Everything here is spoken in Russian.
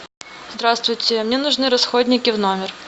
здравствуйте мне нужны расходники в номер